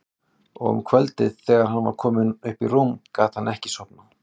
Og um kvöldið þegar hann var kominn upp í rúm gat hann ekki sofnað.